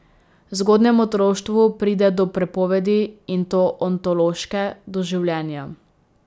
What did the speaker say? V zgodnjem otroštvu pride do prepovedi, in to ontološke, do življenja.